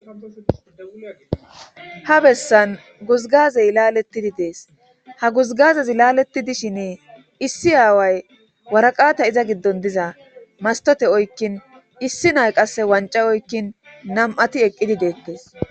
ha bessan guzgazey laalettidi dees ha guzgazez laalettidishin issi aaway waraqata iza giddon diza mastote oykkin issi nay qasse wanca oykkin nam7ati eqqidi deettes